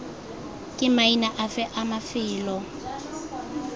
ke maina afe a mafelo